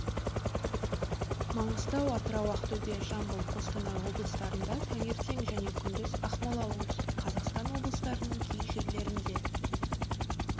маңғыстау атырау ақтөбе жамбыл қостанай облыстарында таңертең және күндіз ақмола оңтүстік қазақстан облыстарының кей жерлерінде